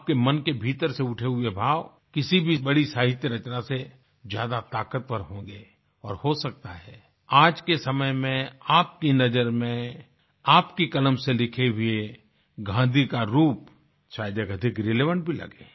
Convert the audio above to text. आपके मन के भीतर से उठे हुए भाव किसी भी बड़ी साहित्य रचना से ज्यादा ताक़तवर होंगे और हो सकता है आज के समय में आपकी नज़र में आपकी कलम से लिखे हुए गाँधी का रूप शायद ये अधिक रिलेवेंट भी लगे